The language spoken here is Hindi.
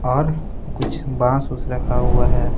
और कुछ रखा हुआ है।